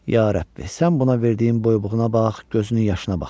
Ya Rəbbi, sən buna verdiyin boybuğuna bax, gözünün yaşına bax.